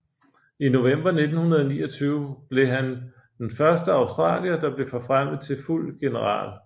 I november 1929 blev han dne første australier der blev forfremmet til fuld general